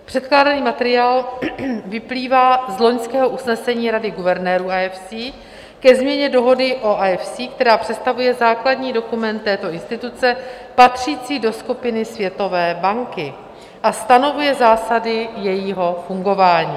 Předkládaný materiál vyplývá z loňského usnesení Rady guvernérů IFC ke změně dohody o IFC, která představuje základní dokument této instituce, patřící do skupiny Světové banky a stanovuje zásady jejího fungování.